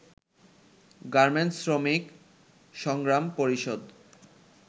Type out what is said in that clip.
garments শ্রমিক সংগ্রাম পরিষদ